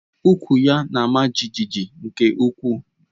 Ukwú ya na-ama jijiji nke ukwuu